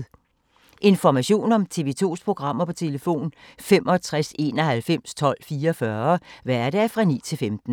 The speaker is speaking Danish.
Information om TV 2's programmer: 65 91 12 44, hverdage 9-15.